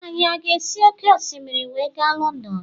Anyi a ga-esi òkè osimiri wee ga Lọndọn.